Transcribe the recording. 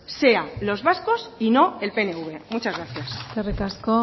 sea los vascos y no el pnv muchas gracias eskerrik asko